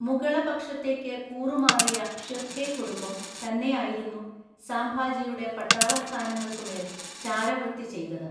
മുഗളപക്ഷത്തേക്ക് കൂറുമാറിയ ഷിർക്കെ കുടുംബം തന്നെയായിരുന്നു സാംഭാജിയുടെ പട്ടാളസ്ഥാനങ്ങള്‍ക്കു മേല്‍ ചാരവൃത്തി ചെയ്തത്.